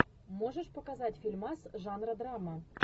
можешь показать фильмас жанра драма